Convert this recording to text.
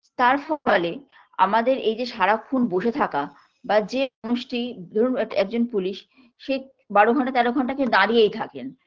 তার ফলে আমাদের এই যে সারাক্ষণ বসে থাকা বা যে পুরুষটি ধরুন একজন police সে বারো ঘন্টা তেরো ঘণ্টা কে দাঁড়িয়েই থাকেন